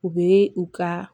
U be u ka